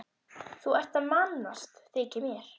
Þú ert að mannast, þykir mér.